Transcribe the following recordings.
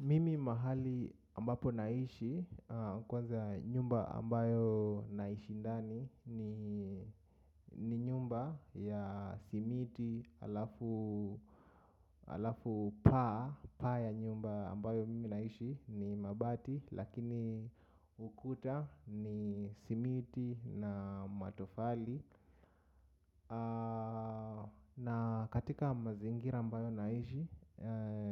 Mimi mahali ambapo naishi kwanza nyumba ambayo naishi ndani ni nyumba ya simiti alafu alafu paa ya nyumba ambayo mimi naishi ni mabati lakini ukuta ni simiti na matofali. Na katika mazingira ambayo naishi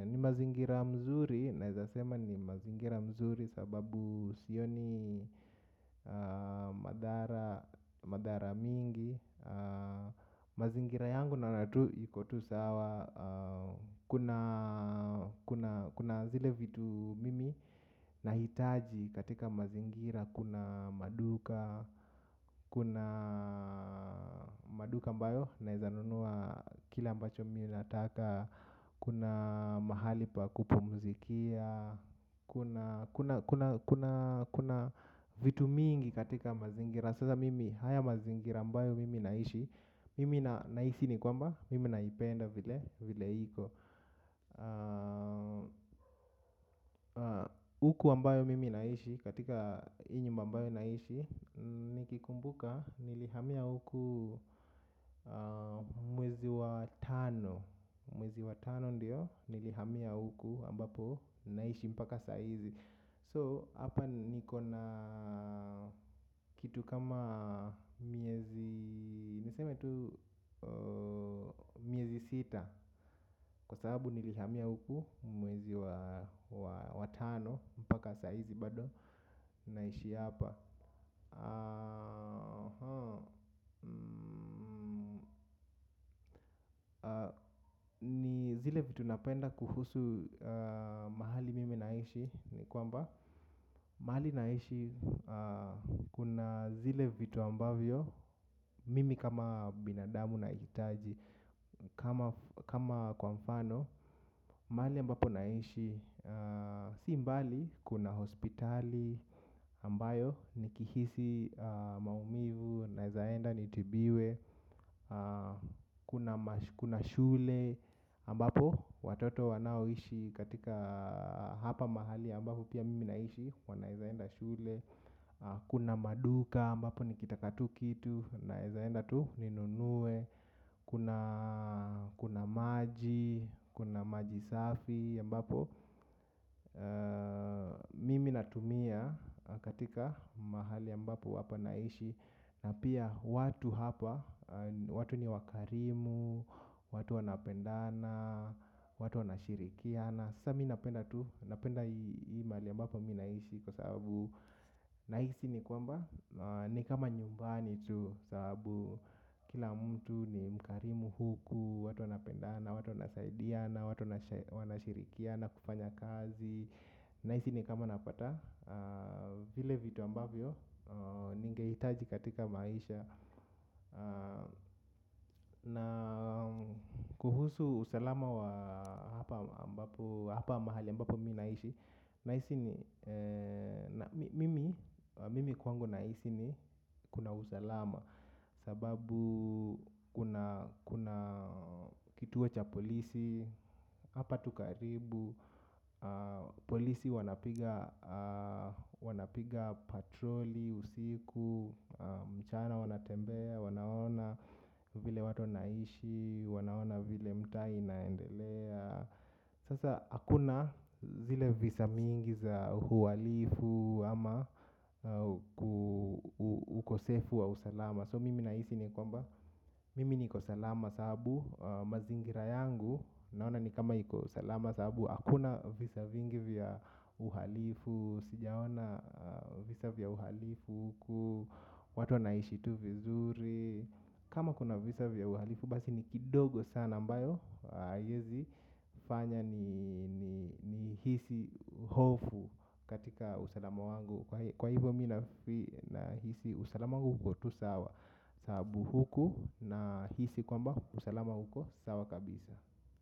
ni mazingira mzuri. Naezasema ni mazingira mzuri. Sababu sioni madhara mingi. Mazingira yangu naona tu iko tusawa. Kuna zile vitu mimi na hitaji katika mazingira kuna maduka. Kuna maduka ambayo naezanunua kile ambacho mimi nataka. Kuna mahali pa kupumuzikia. Kuna vitu mingi katika mazingira. Sasa mimi haya mazingira ambayo mimi naishi mimi naishi ni kwamba mimi naipenda vile iko. Uku ambayo mimi naishi katika hii nyumba ambayo naishi nikikumbuka nilihamia uku mwezi wa tano. Mwezi watano ndiyo nilihamia huku ambapo naishi mpaka saizi So, hapa nikona kitu kama miezi, niseme tu miezi sita. Kwa sababu nilihamia huku mwezi watano mpaka sa hizi bado naishi hapa. Zile vitu napenda kuhusu mahali mimi naishi ni kwamba mahali naishi kuna zile vitu ambavyo mimi kama binadamu na itaji kama kwamfano mahali ambapo naishi simbali kuna hospitali ambayo nikihisi maumivu naezaenda nitibiwe kuna shule ambapo watoto wanaoishi katika hapa mahali ambapo pia mimi naishi wanaezaenda shule. Kuna maduka ambapo nikitaka tu kitu naezaenda tu ninunue kuna. Kuna maji, kuna maji safi aMbapo mimi natumia katika mahali ambapo hapa naishi. Na pia watu hapa, watu ni wakarimu. Watu wanapendana, watu wanashirikiana. Na sa minapenda tu, napenda hii mahali ambapo mi naishi kwa sababu nahisi ni kwamba ni kama nyumbani tu sababu kila mtu ni mkarimu huku, watu wanapendana watu wanasaidia na watu wanashirikia na kufanya kazi. Naisi ni kama napata, vile vitu ambavyo ningeitaji katika maisha. Na kuhusu usalama wa hapa mahali ambapo mi naishi. Naisi ni mimi kwangu naisi ni kuna usalama. Sababu kuna kituo cha polisi. Hapa tukaribu. Polisi wanapiga patroli, usiku, mchana wanatembea, wanaona. Vile watu wanaishi, wanaona vile mtaa i naendelea. Sasa hakuna zile visa mingi za uhalifu ama ukosefu wa usalama So mimi naisi ni kwamba, mimi niko salama saabu, mazingira yangu. Naona ni kama iko salama sababu, hakuna visa vingi vya uhalifu. Sijaona visa vya uhalifu huku, watu wa naishi tu vizuri kama kuna visa vya uhalifu basi ni kidogo sana ambayo haezi fanya ni ni hisi hofu katika usalama wangu. Kwa hivyo mi na hisi usalama uko tu sawa. Saabu huku na hisi kwamba usalama uko sawa kabisa.